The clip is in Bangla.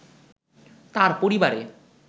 তার পরিবারে